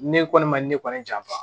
Ne kɔni ma ne kɔni janfa